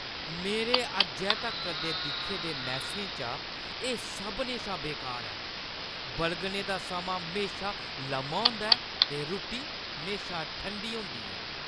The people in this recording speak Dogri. मेरे अज्जै तगर दे दिक्खे दे मैस्सें चा एह् सभनें शा बेकार ऐ । बलगने दा समां म्हेशा लम्मा होंदा ऐ ते रुट्टी म्हेशा ठंडी होंदी ऐ।